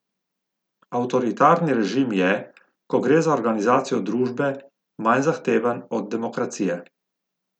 Avtoritarni režim je, ko gre za organizacijo družbe, manj zahteven od demokracije.